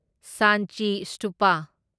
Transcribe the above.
Sanchi Stupa